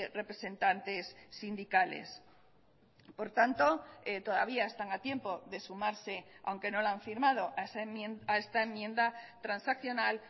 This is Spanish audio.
representantes sindicales por tanto todavía están a tiempo de sumarse aunque no la han firmado a esta enmienda transaccional